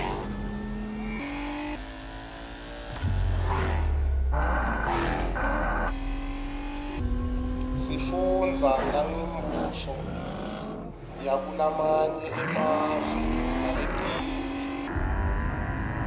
sifundza nangembuso yakulamanye emave naletinye